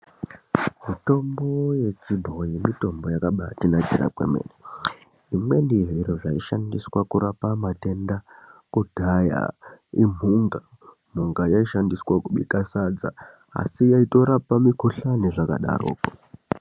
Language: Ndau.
Mitombo yechibhoyi mitombo yakabatinakira kwemene. Zvimweni zviro zvaishandiswa kudhaya imhunga. Mhunga yaishandiswa kubika sadza asi yaitotorapa mikhuhlane zvakadaroko.